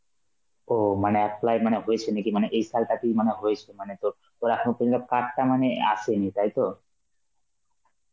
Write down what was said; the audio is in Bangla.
ও মানে apply মানে হয়েছে নাকি মানে এই সালটা তুই মানে হয়েছি মানে তোর~ তোর এখনো পর্যন্ত card টা মানে আসেনি তাইতো?